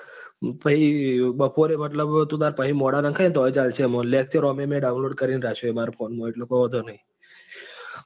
પછી બપોરે મતલબ તું તાર મોડા નખાયે તો પણ ચાલશે lecture મેં download કરી ને રાખ્યા છે મારા phone માં એટલે વાંધો નથી.